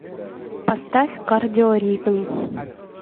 поставь кардио ритм